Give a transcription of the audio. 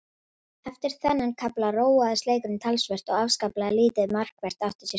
Eftir þennan kafla róaðist leikurinn talsvert og afskaplega lítið markvert átti sér stað.